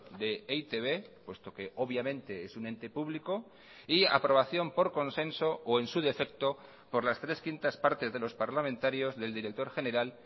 de e i te be puesto que obviamente es un ente público y aprobación por consenso o en su defecto por las tres quintas partes de los parlamentarios del director general